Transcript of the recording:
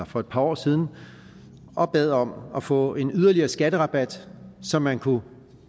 for et par år siden og bad om at få en yderligere skatterabat så man kunne